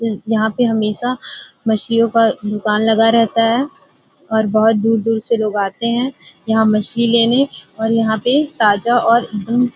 ई यहाँ पे हमेशा मछलियों का दुकान लगा रहता है और बोहोत दूर दूर से लोग आते हैं यहाँ मछली लेने और यहाँ पे ताजा और एकदम --